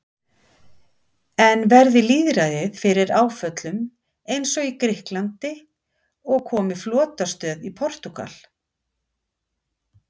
En verði lýðræðið fyrir áföllum eins og í Grikklandi og komi flotastöð í Portúgal?